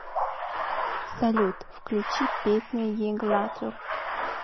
салют включи песня иглатур